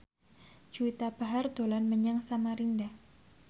Juwita Bahar dolan menyang Samarinda